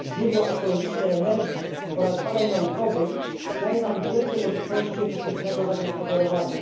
źródła ekologicznej energii oraz badań naukowych daje nam wielkie możliwości efektywnego zagospodarowania.